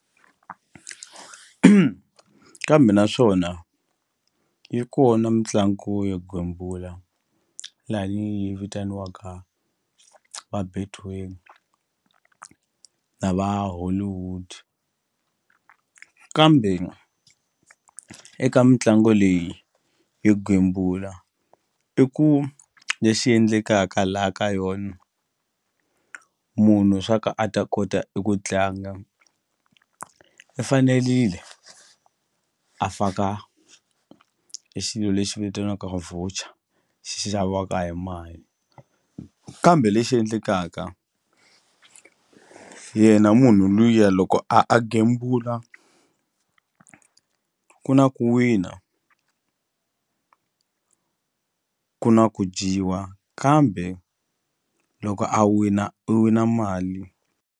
Kambe naswona yi kona mitlangu yo gembula lani yi vitaniwaka va Betway na va Hollywood kambe eka mitlangu leyi yo gembula i ku lexi endlekaka la ka yona munhu swa ka a ta kota eku tlanga i fanelile a faka e xilo lexi vitaniwaka voucher xi xaviwaka hi mali kambe lexi endlekaka yena munhu luya loko a a gembula ku na ku wina ku na ku dyiwa kambe loko a wina u wina mali.